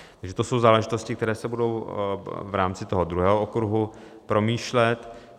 Takže to jsou záležitosti, které se budou v rámci toho druhého okruhu promýšlet.